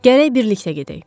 Gərək birlikdə gedək.